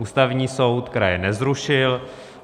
Ústavní soud kraje nezrušil.